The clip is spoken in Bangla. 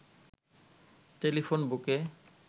টেলিফোন বুকে